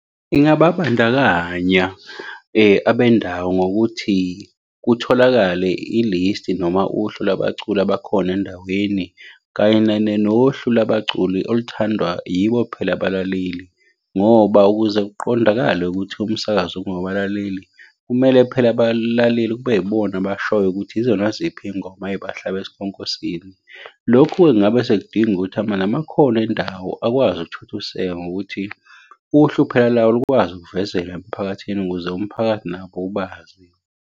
Ingababandakanya abendawo ngokuthi kutholakale ilisti noma uhlu lwabaculi bakhona endaweni, kanye nohlu lwabaculi oluthandwa yibo phela abalaleli, ngoba ukuze kuqondakale ukuthi umsakazo ungowabalaleli, kumele phela abalaleli kube yibona abashoyo ukuthi yizona ziphi iy'ngoma ey'bahlabe esikhonkosini. Lokhu-ke ngabe sekudinga ukuthi namakholwa endawo akwazi ukuthuthuseka ngokuthi uhlu phela lawo lukwazi ukuvezela emphakathini ukuze umphakathi nabo ubazi.